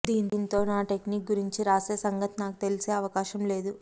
దీంతో నా టెక్నిక్ గురించి రాసే సంగతి నాకు తెలిసే అవకాశం లేదు